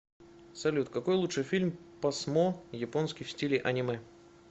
салют какой лучше фильм посмо японский в стиле анимэ